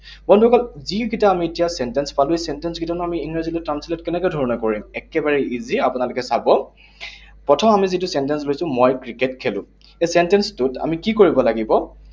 বন্ধুসকল, যিকেইটা আমি এতিয়া sentence পালো, sentence কেইটা আমি ইংৰাজীলৈ translate কেনেকে ধৰণে কৰিম? একেবাৰে easy, আপোনালোকে চাব। প্ৰথম আমি যিটো sentence লৈছো, মই ক্ৰিকেট খেলো। এই sentence টোত আমি কি কৰিব লাগিব?